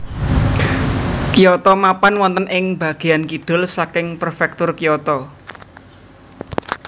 Kyoto mapan wonten ing bagéyan kidul saking Prefektur Kyoto